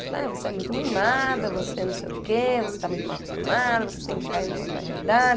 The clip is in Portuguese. Ele falou, você é muito mimada, você não sei o quê, você está muito mal acostumada, você tem que cair numa outra realidade.